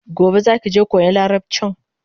Gobe zaki je koyan larabchin?